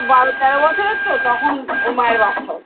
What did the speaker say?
বারো তেরো বছরের তো তখন ওর মায়ের বাচ্চা হয়েছে।